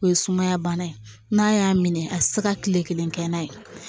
O ye sumaya bana ye n'a y'a minɛ a tɛ se ka tile kelen kɛ n'a ye